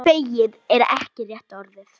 Feginn er ekki rétta orðið.